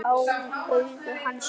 Augu hans eru stór.